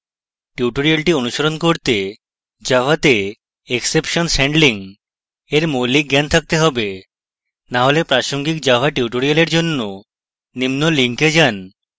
tutorial অনুসরণ করতে java to exceptions handling এর মৌলিক জ্ঞান থাকতে have to হলে প্রাসঙ্গিক java tutorial জন্য নিম্ন link যান